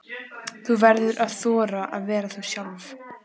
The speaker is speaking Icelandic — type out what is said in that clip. Þú verður að þora að vera þú sjálf.